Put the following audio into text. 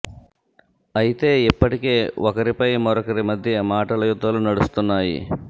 అయితే ఇప్పటికే ఒకరి పై మరొకరి మద్య మాటల యుద్దాలు నడుస్తున్నాయి